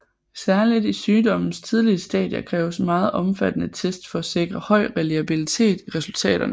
Særligt i sygdommens tidlige stadier kræves meget omfattende test for at sikre høj reliabilitet i resultaterne